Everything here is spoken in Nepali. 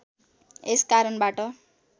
यस कारणबाट